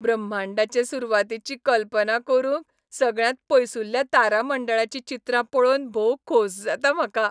ब्रह्मांडाचे सुरवातीची कल्पना करूंक सगळ्यांत पयसुल्ल्या तारामंडळाचीं चित्रां पळोवन भोव खोस जाता म्हाका.